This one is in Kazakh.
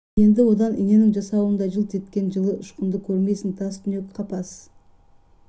енді одан иненің жасуындай жылт еткен жылы ұшқынды көрмейсің тас түнек қапас